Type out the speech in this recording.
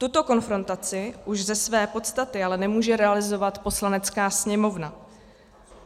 Tuto konfrontaci už ze své podstaty ale nemůže realizovat Poslanecká sněmovna.